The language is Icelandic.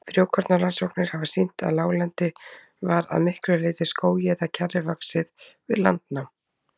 Frjókornarannsóknir hafa sýnt að láglendi var að miklu leyti skógi eða kjarri vaxið við landnám.